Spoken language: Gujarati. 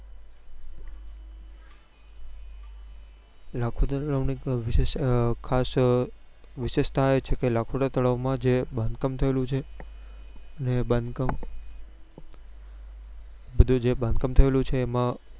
લખોટા તળાવ ની એક વિશેષ અ ખાસ વિશેષતા એ છે કે લખોટા તળાવ માં જે બાંધકામ થયેલું છે ને એ બાંધકામ બધું જે બાંધકામ થયેલું છે એમાં